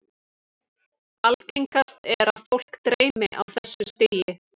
Algengast er að fólk dreymi á þessu stigi.